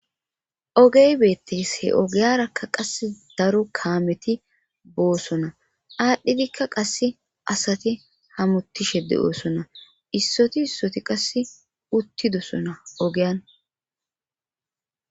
ogey beettes he ogeyarakka qasse daro kaameti boosona aadhdhidikka qasse asati hamutishe de7oosona issoti issoti qasse uttidosona ogeyan